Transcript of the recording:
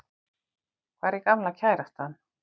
Hvar er gamla kærastan?